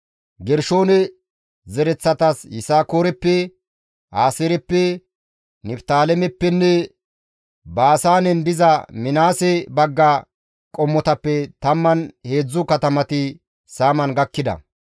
Gershoone zereththatas Yisakooreppe, Aaseereppe, Niftaalemeppenne Baasaanen diza Minaases bagga qommotappe 13 katamati saaman gakkida.